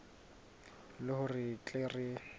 le hore re tle re